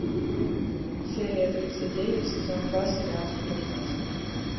серия тридцать девять сезон два сериал сплетница